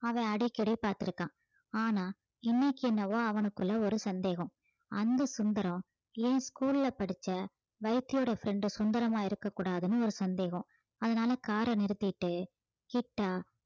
அவன் அடிக்கடி பார்த்து இருக்கான் ஆனா இன்னைக்கு என்னவோ அவனுக்குள்ள ஒரு சந்தேகம் அந்த சுந்தரம் என் school ல படிச்ச வைத்தியரோட friend சுந்தரமா இருக்கக் கூடாதுன்னு ஒரு சந்தேகம் அதனால car அ நிறுத்திட்டு கிட்டா